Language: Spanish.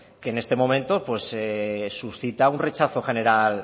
que en este momento suscita un rechazo general